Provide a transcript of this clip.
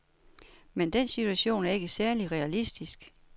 Men den situation er ikke særlig realistisk.